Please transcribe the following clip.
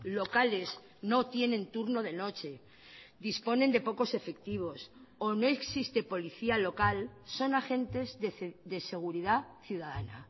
locales no tienen turno de noche disponen de pocos efectivos o no existe policía local son agentes de seguridad ciudadana